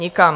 Nikam.